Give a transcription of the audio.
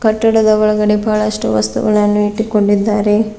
ಕಟ್ಟಡದ ಒಳಗಡೆ ಬಹಳಷ್ಟು ವಸ್ತುಗಳನ್ನು ಇಟ್ಟುಕೊಂಡಿದ್ದಾರೆ.